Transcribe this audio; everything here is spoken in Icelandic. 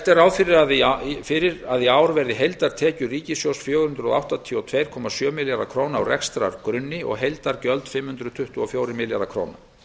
er ráð fyrir að í ár verði heildartekjur ríkissjóðs fjögur hundruð áttatíu og tvö komma sjö milljarðar króna á rekstrargrunni og heildargjöld fimm hundruð tuttugu og fjórir milljarðar króna